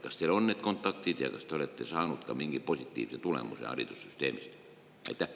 Kas teil on need kontaktid ja kas te olete saanud mingi positiivse tulemuse haridussüsteemist?